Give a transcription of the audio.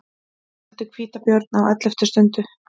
Felldu hvítabjörn á elleftu stundu